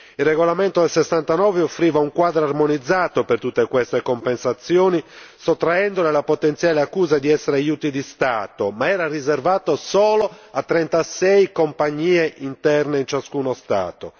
Il regolamento del 1969 offriva un quadro armonizzato per tutte queste compensazioni sottraendo la potenziale accusa di essere aiuti di Stato, ma era riservato solo a 36 compagnie interne in ciascuno Stato.